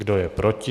Kdo je proti?